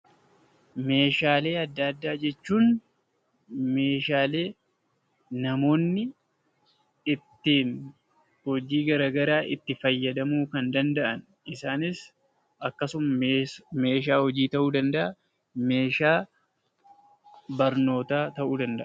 Meeshaalee adda addaa jechuun meeshaalee namoonni ittiin hojii garagaraa itti fayyadamuu kan danda'an. Isaanis, akkasumas meeshaa hojii ta'uu danda'a; meeshaa barnootaa ta'uu danda'a.